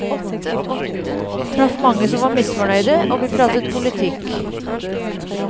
Traff mange som var misfornøyde, og vi pratet politikk.